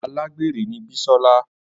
Agbere ni Bisola.